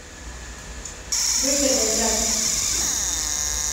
выгода запись